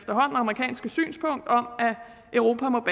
amerikanske synspunkt om at europa må